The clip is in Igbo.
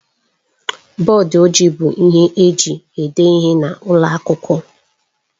Bọdụ ojii bụ ihe eji ede ihe n'ụlọ akwụkwọ.